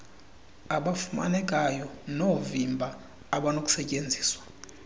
abafumanekayo noovimba abanokustyenziswa